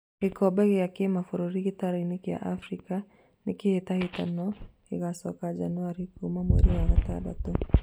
Gĩkombe gĩa kĩmabũrũri gĩtaro-inĩ kĩa Afrika; nĩkĩ kĩhĩtahĩtano gĩcokio Januarĩ kuma mweri wa gatandatũ?